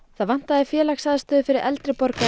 það vantaði félagsaðstöðu fyrir eldri borgara